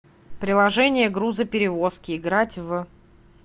приложение грузоперевозки играть в